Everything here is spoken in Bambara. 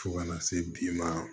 Fo kana se bi ma